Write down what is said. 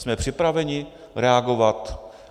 Jsme připraveni reagovat?